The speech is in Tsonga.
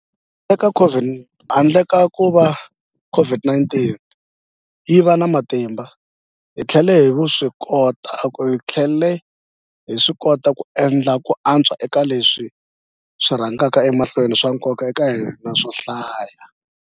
Handle ka kuva COVID-19 yi va na matimba, hi tlhele hi swikota ku endla ku antswa eka leswi swi rhangaka emahlweni swa nkoka eka hina swo hlaya.